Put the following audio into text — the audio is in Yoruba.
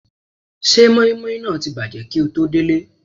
Ṣé mọ́ímọ́í náà ti bàjẹ́ kíi o tó délé?